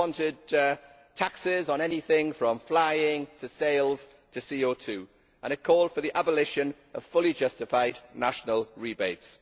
It wanted taxes on anything from flying to sails, to CO 2 and it called for the abolition of fully justified national rebates.